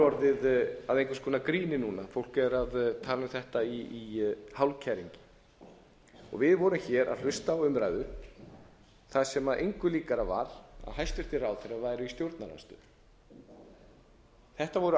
orðið að einhvers konar gríni núna fólk er að tala um þetta í hálfkæringi við vorum hér að hlusta á umræður þar sem engu líkara var en hæstvirtir ráðherrar væru í stjórnarandstöðu þetta voru